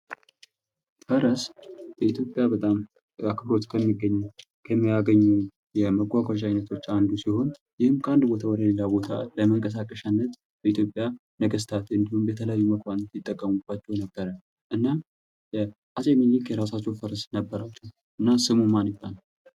ፈረስ በኢትዮጵያ በጣም አክብሮት ከሚያገኙ የመጓጓዣ አይነቶች አንዱ ሲሆን። ይህም ከአንድ ቦታ ወደ ሌላ ቦታ ለመንቀሳቀሻነት በኢትዮጵያ ነገስታት እንዲሁም የተለያዩ መኳንቶች ይጠቀሙባቸው የነበረ ነው። እናም አፄ ሚኒሊክ የራሳቸው ፈረስ ነበራቸው ስሙም ማን ይባላል?